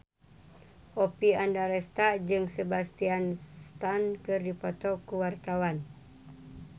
Oppie Andaresta jeung Sebastian Stan keur dipoto ku wartawan